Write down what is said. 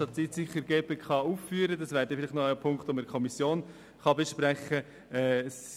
Das ist ein Punkt, welcher in der Kommission besprochen werden kann.